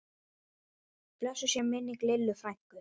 Blessuð sé minning Lillu frænku.